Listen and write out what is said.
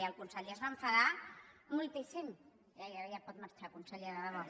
i el conseller es va enfadar moltíssim ja pot marxar conseller de debò